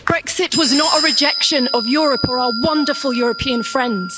Brexit was not a rejection of Europe or our wonderful European friends.